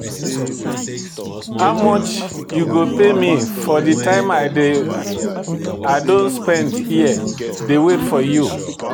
How much you go pay me for time I don spend here dey wait for you?